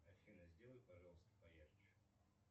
афина сделай пожалуйста поярче